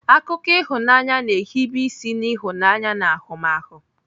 Akụkọ ịhụnanya na-ehibe isi n'ịhụnanya na ahụmahụ.